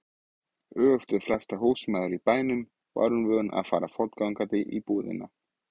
Öfugt við flestar húsmæður í bænum var hún vön að fara fótgangandi í búðina.